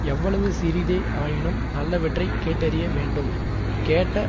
எவ்வளவு சிறிதே ஆயினும் நல்லவற்றைக் கேட்டறிய வேண்டும் கேட்ட